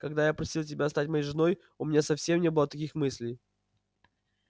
когда я просил тебя стать моей женой у меня совсем не было таких мыслей